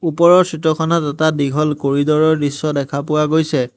ওপৰৰ চিত্ৰখনত এটা দীঘল কৰিড'ৰ ৰ দৃশ্য দেখা পোৱা গৈছে।